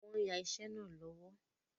Wọ́n ń yà iṣẹ́ náà lọ́wọ́